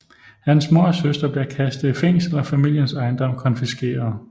Hans mor og søster bliver kastet i fængsel og familiens ejendom konfiskeret